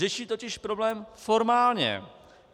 Řeší totiž problém formálně.